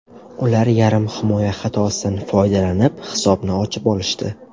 Ular yarim himoya xatosidan foydalanib, hisobni ochib olishdi.